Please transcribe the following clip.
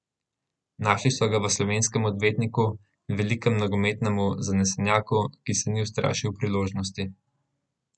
Našli so ga v slovenskem odvetniku, velikem nogometnem zanesenjaku, ki se ni ustrašil priložnosti.